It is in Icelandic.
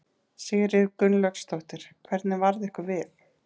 Sigríður Guðlaugsdóttir: Hvernig varð ykkur við?